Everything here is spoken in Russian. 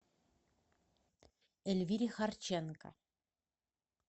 эльвире харченко